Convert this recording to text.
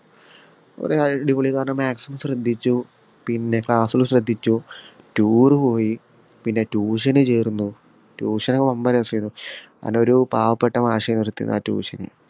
കൊറേ അടിപൊളിന്ന് പറഞ്ഞ maximum ശ്രദ്ധിച്ചു പിന്നെ class ല് ശ്രദ്ധിച്ചു tour പോയി പിന്നെ tuition ചേർന്നു tuition വമ്പൻ രസേനു കാരണം ഒരു പാവപ്പെട്ട മാഷെനു എടുത്തിരുന്നേ ആ tution